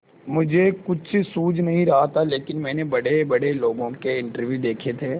मुझे कुछ सूझ नहीं रहा था लेकिन मैंने बड़ेबड़े लोगों के इंटरव्यू देखे थे